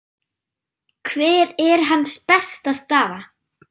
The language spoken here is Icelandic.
Hver er hans besta staða?